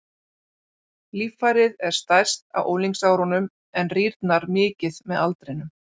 Líffærið er stærst á unglingsárunum en rýrnar mikið með aldrinum.